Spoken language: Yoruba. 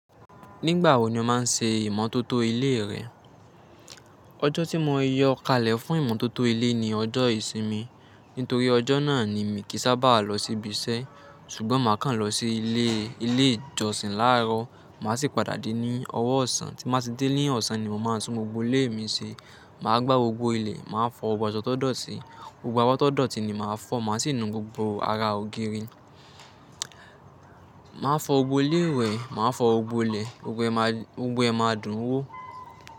Nígbà wo ni o máa ń ṣe ìmọ́tótó ilé rẹ? Ọjọ́ tí mo yọ kalẹ̀ fún ìmọ́tótó ilé ni ọjọ́ ìsinmi. Nítorí ọjọ́ náà ni mi kì í sábà lọ síbi iṣẹ́. Ṣùgbọ́n máà kan lọ sí ilé ìjọsìn láàárọ̀. Màá sì padà dé ní ọ̀wọ̀ ọ̀sán. Tí màá ti dé ní ọ̀sán ni màá tún gbogbo ilé mi ṣe. Màá gbá gbogbo ilẹ̀, màá fọ gbogbo asọ́ to dọ̀ti, gbogbo abọ́ to dọ̀ti ni màá fọ. Màá sì nu gbogbo ara ògiri. Màá fọ gbogbo ilé ìwẹ̀, màá fọ gbogbo ilẹ̀, gbogbo ẹma dun wo.